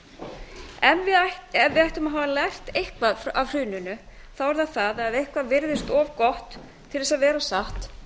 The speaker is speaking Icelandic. ævintýralegum ef við ættum að hafa lært eitthvað af hruninu þá er það það að eitthvað virðist of gott til að vera satt þá er